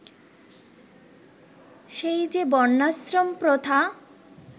সেই যে বর্ণাশ্রম প্রথা